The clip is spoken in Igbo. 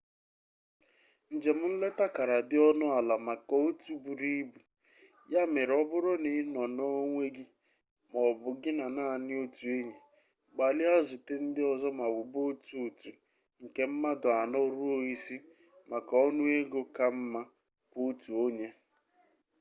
njem nleta kara dị ọnụ ala maka otu buru ibu ya mere ọ bụrụ na ị nọ n'onwe gị ma ọ bụ gị na naanị otu enyi gbalịa zute ndị ọzọ ma wube otu otu nke mmadụ anọ ruo isii maka ọnụego ka mma kwa-otu-onye